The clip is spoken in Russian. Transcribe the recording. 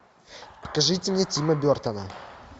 покажите мне тима бертона